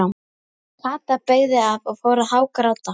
Kata beygði af og fór að hágráta.